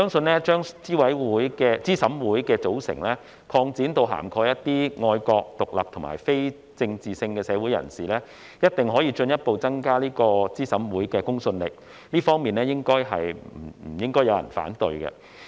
我相信把資審會的組成擴展至涵蓋一些愛國、獨立和非政治性的社會人士，一定可進一步增加資審會的公信力，這方面應該不會有人反對。